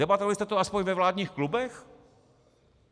Debatovali jste to aspoň ve vládních klubech?